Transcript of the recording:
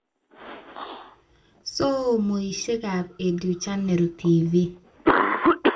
Somoishekab Educhannel TV